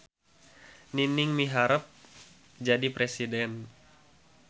Nining miharep jadi presiden